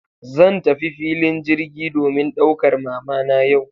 Zan tafi filin jirgi domin daukar mamana yau.